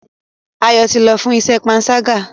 Ayo tí lọ fún iṣé panṣaga.